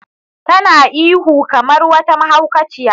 Tana ta ihu kamar wata mahaukaciya.